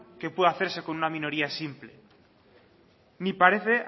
que pueda hacerse con una minoría simple ni parece